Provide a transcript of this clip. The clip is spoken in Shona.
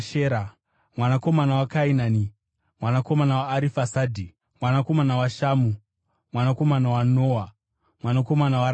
mwanakomana waKainani, mwanakomana waArifasadhi, mwanakomana waShamu, mwanakomana waNoa, mwanakomana waRameki,